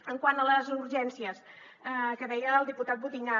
quant a les urgències que deia el diputat butinyà